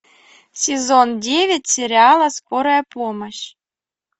сезон девять сериала скорая помощь